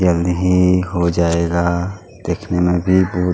जल्दी ही हो जाएगा दिखने में भी बहुत --